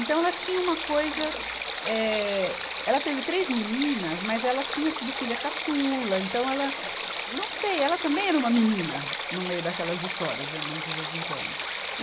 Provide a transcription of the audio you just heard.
Então ela tinha uma coisa, eh, ela teve três meninas, mas ela tinha sido filha caçula, então ela, eh, não sei, ela também era uma menina no meio daquelas histórias, minha mãe de vez em quando.